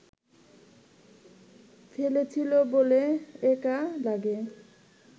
ফেলেছিল বলে একা লাগে